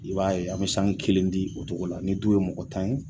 I b'a ye an bɛ sange kelen di o cogo la ni du ye mɔgɔ tan ye.